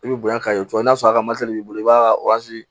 I bɛ bonya ka ye cogo min n'a sɔrɔ a ka b'i bolo i b'a